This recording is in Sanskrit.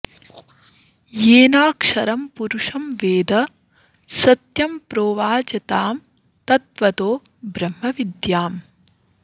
येनाक्षरं पुरुषं वेद सत्यं प्रोवाच तां तत्त्वतो ब्रह्मविद्याम्